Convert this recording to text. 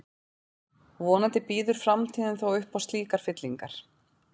Vonandi býður framtíðin þó upp á slíkar fyllingar.